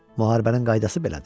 Müharibənin qaydası belədir.